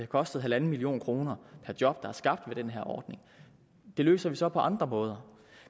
kostet en million kroner per job der er skabt ved den her ordning det løser vi så på andre måder